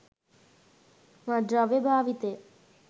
මත්ද්‍රව්‍ය භාවිතය